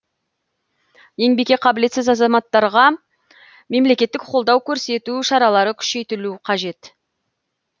еңбекке қабілетсіз азаматтарға мемлекеттік қолдау көрсету шаралары күшейтілу қажет